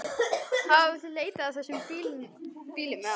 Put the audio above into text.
Hafið þið leitað að þessum bílum eða?